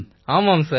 ஆமாம் சார்